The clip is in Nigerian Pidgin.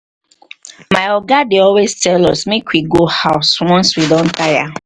my oga dey always tell us make we go house once we don tire